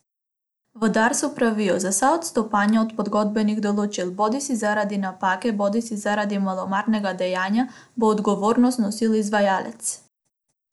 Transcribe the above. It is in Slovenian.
V Darsu pravijo: "Za vsa odstopanja od pogodbenih določil, bodisi zaradi napake bodisi zaradi malomarnega dejanja, bo odgovornost nosil izvajalec.